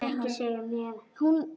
Ekki segja mér,